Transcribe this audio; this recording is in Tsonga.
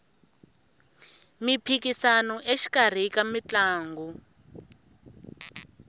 miphikisano exikarhi ka mitlangu